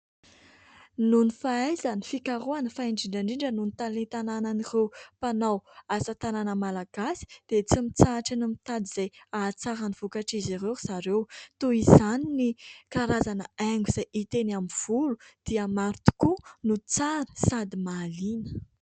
Nohon'ny fahaizany fikarohana, fa indrindra indrindra nohon'ny talenta ananan'ireo mpanao asa tanana Malagasy. Dia tsy mitrahatra ny mitady izay hahatsara ny vokatr'izy ireo ry zareo. Toa izany ny karazana haingo, izay hita eny amin'ny volo ; dia maro tokoa ny tsara no sady mahaliana.